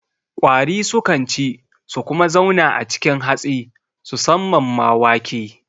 Ƙwari sukan ci su kuma zauna a cikin hatsi susamman ma wake